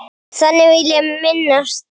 Þannig vil ég minnast þín.